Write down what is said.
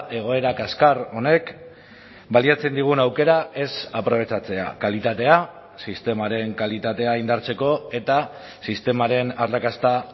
egoera kaskar honek baliatzen digun aukera ez aprobetxatzea kalitatea sistemaren kalitatea indartzeko eta sistemaren arrakasta